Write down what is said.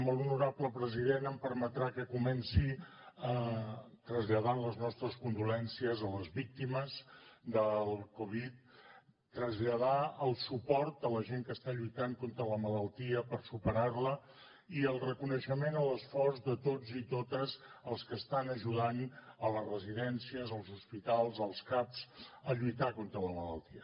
molt honorable president em permetrà que comenci traslladant les nostres condolences a les víctimes del covid traslladar el suport a la gent que està lluitant contra la malaltia per superar la i el reconeixement a l’esforç de tots i totes els que estan ajudant a les residències als hospitals als caps a lluitar contra la malaltia